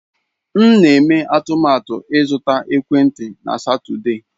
M na-eme atụmatụ ịzụta ekwentị na Satọde.